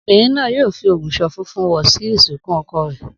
Obìnrin náà yóò fi ògùṣọ̀ funfun wọ̀ sí ìsìnkú ọkọ rẹ̀